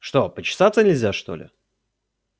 что почесаться нельзя что ли